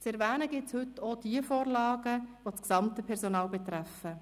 Zu erwähnen gilt es heute auch diejenigen Vorlagen, die das gesamte Personal betreffen: